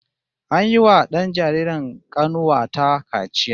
An yiwa dan jaririn kanuwa ta kaciya